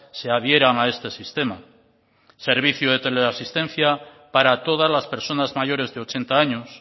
se adhieran a este sistema servicio de teleasistencia para todas las personas mayores de ochenta años